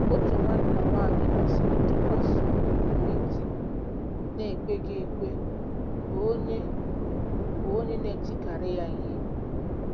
Otu nwanna nwaanyị kwesịrị ntụkwasị obi nwere di na-ekweghị ekwe, bụ́ onye, bụ́ onye na-etikarị ya ihe.